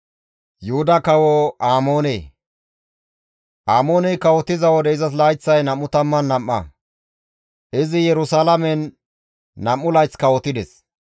Amooney kawotiza wode izas layththay 22; izi Yerusalaamen nam7u layth kawotides.